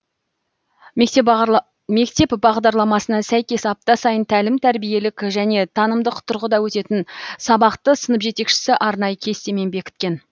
мектеп бағдарламасына сәйкес апта сайын тәлім тәрбиелік және танымдық тұрғыда өтетін сабақты сынып жетекшісі арнайы кестемен бекіткен